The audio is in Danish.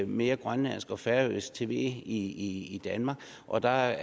mere grønlandsk og færøsk tv i danmark og der er